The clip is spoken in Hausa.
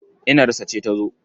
Inarsa ce ta zo.